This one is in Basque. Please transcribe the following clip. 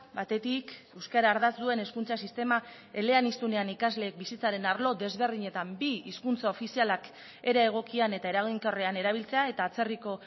batetik euskara ardatz duen hezkuntza sistema eleaniztunean ikasleek bizitzaren arlo desberdinetan bi hizkuntza ofizialak era egokian eta eraginkorrean erabiltzea eta atzerriko